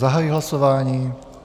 Zahajuji hlasování.